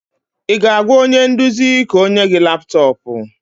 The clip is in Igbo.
Ị ga-agwa onye nduzi ka o nye gị laptọọpụ?